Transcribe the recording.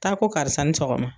Taa ko karisa i ni sɔgɔma